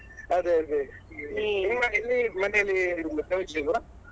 ಅದೇ ಅದೇ ನಿಮ್ಮ ಇಲ್ಲಿ ಮನೆಯಲ್ಲಿ ಗೌಜಿ ಇಲ್ವಾ?